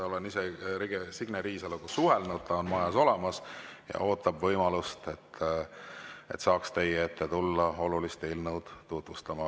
Olen ise Signe Riisaloga suhelnud, ta on majas olemas ja ootab võimalust, et saaks teie ette tulla olulist eelnõu tutvustama.